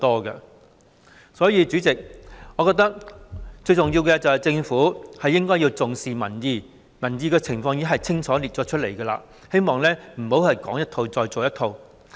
代理主席，所以，我認為最重要的是，政府應該重視民意，而民意亦已在報告中清楚列出，我希望政府不要再說一套，做一套。